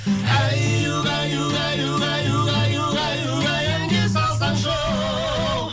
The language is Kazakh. әй угай угай угай угай угай угай әнге салсаңшы оу